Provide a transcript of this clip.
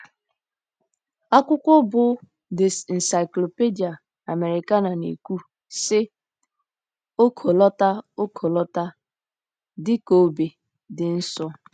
Akwụkwọ bụ́ The Encyclopedia Americana na-ekwu, sị: “ Ọkọlọtọ: “ Ọkọlọtọ, dị ka obe, dị nsọ .”